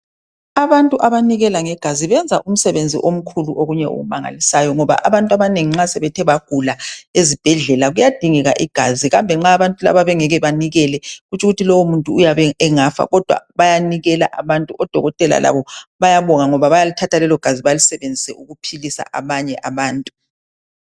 abantu abanikela ngegazi benza umsebenzi omkhulu okunye okumangalisayo ngoba abntu abanengi nxa sebethe bagula ezibhedlela kuyadingeka igazi kambe nxa abantu laba bengeke banikele tshukuthi lowo muntu uyabe engafa kodwa bayanikela abantu odokotela labo bayabonga ngoba bayalithatha lelo gazi balisebenzise ukuphilisa abanye abantu